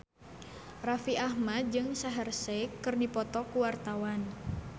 Raffi Ahmad jeung Shaheer Sheikh keur dipoto ku wartawan